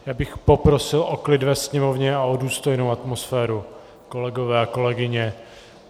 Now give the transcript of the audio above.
Já bych poprosil o klid ve sněmovně a o důstojnou atmosféru, kolegové a kolegyně.